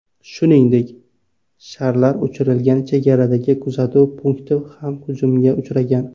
Shuningdek, sharlar uchirilgan chegaradagi kuzatuv punkti ham hujumga uchragan.